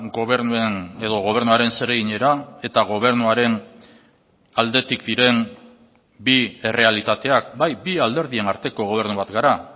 gobernuen edo gobernuaren zereginera eta gobernuaren aldetik diren bi errealitateak bai bi alderdien arteko gobernu bat gara